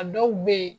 A dɔw be yen